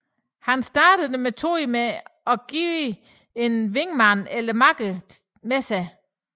Han startede dermed metoden med at have en wingman eller makker med sig